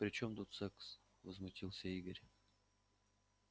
при чём тут секс возмутился игорь